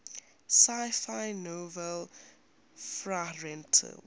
sci fi novel fahrenheit